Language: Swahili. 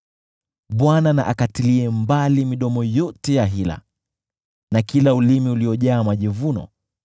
Bwana na akatilie mbali midomo yote ya hila na kila ulimi uliojaa majivuno,